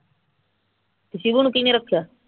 ਤੇ ਸ਼ੀਭੂ ਨੇ ਕੀਹਨੂੰ ਰੱਖਿਆ